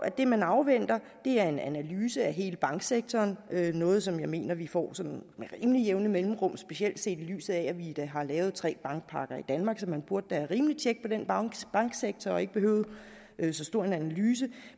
at det man afventer er en analyse af hele banksektoren noget som jeg mener vi får sådan med rimelig jævne mellemrum specielt set i lyset af at vi da har lavet tre bankpakker i danmark så man burde da have rimelig tjek på den banksektor og ikke behøve så stor en analyse